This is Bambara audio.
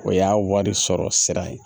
O y'a wari sɔrɔ sira ye